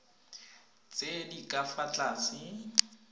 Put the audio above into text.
tse di ka fa tlase